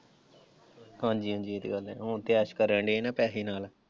ਹਾਂਜੀ ਹਾਂਜੀ ਇਹ ਤੇ ਗੱਲ ਹੈ, ਹੁਣ ਤੇ ਐਸ਼ ਕਰਨ ਡੇ ਨਾ ਪੈਸੇ ਨਾਲ।